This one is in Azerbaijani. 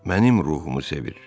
Mənim ruhumu sevir.